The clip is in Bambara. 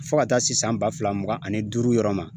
Fo ka taa se san ba fila mugan ani duuru yɔrɔ ma